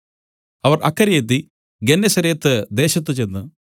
അവർ അക്കരെയെത്തി ഗെന്നേസരത്ത് ദേശത്തു ചെന്ന്